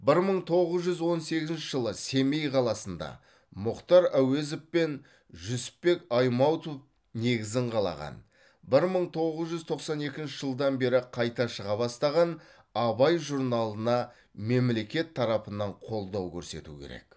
бір мың тоғыз жүз он сегізінші жылы семей қаласында мұхтар әуезов пен жүсіпбек аймауытов негізін қалаған бір мың тоғыз жүз тоқсан екінші жылдан бері қайта шыға бастаған абай журналына мемлекет тарапынан қолдау көрсету керек